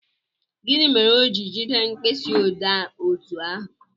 Gịnị mere o ji jide mkpịsị odee otú ahụ?